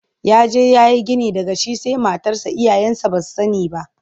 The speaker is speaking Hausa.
Ya je ya yi gini daga shi sai matarsa iyayensa ba su sani ba.